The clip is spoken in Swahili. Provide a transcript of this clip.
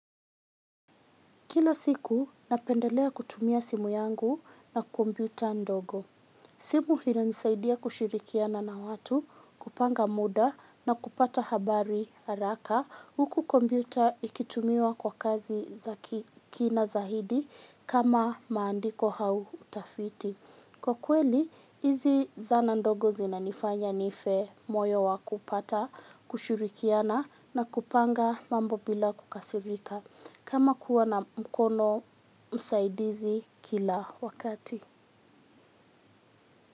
Kilo siku napendelea kutumia simu yangu na komputa ndogo. Simu inanisaidia kushirikiana na watu, kupanga muda na kupata habari haraka. Huku kombiuta ikitumiwa kwa kazi kina zaidi kama maandiko hau utafiti. Kwa kweli, hizi zana ndogo zinanifanya nife moyo wa kupata, kushirikiana na kupanga mambo bila kukasirika. Kama kuwa na mkono msaidizi kila wakati.